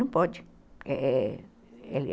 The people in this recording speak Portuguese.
Não pode.